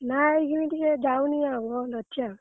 ନା ଏଇଖିଣି ଟିକେ ଯାଉନି ଆଉ ବନ୍ଦ ଅଛି ଆଉ।